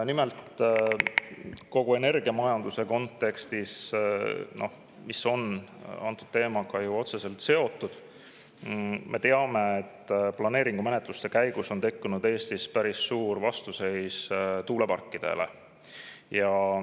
Nimelt, kogu energiamajanduse kontekstis, mis on antud teemaga ju otseselt seotud, me teame, et planeeringumenetluste käigus on tekkinud Eestis päris suur vastuseis tuuleparkidele.